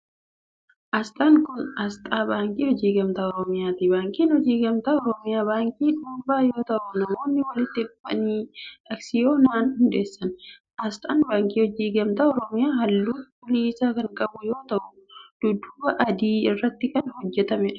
Asxaan kun, asxaa Baankii Hojii Gamtaa Oromiyaati. Baankiin Hojii Gamtaa Oromiyaa baankii dhuunfaa yoo ta'u, namoonni walitti dhufanii aksiyoonaan hundeessan. Asxaan Baankii Hojii Gamtaa Oromiyaa haalluu cuquliisa kan qabu yoo ta'u, dudduuba adii irratti kan hojjatamee dha.